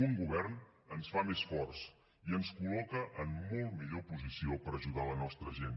un govern ens fa més forts i ens col·loca en molt millor posició per ajudar la nostra gent